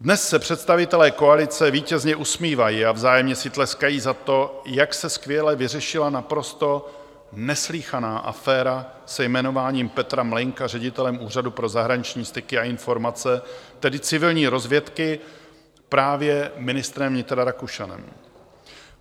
Dnes se představitelé koalice vítězně usmívají a vzájemně si tleskají za to, jak se skvěle vyřešila naprosto neslýchaná aféra se jmenováním Petra Mlejnka ředitelem Úřadu pro zahraniční styky a informace, tedy civilní rozvědky, právě ministrem vnitra Rakušanem.